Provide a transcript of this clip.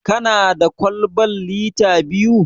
Kana da kwalban lita biyu?